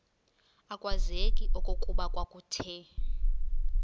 akwazeki okokuba kwakuthe